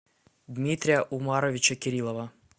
дмитрия умаровича кирилова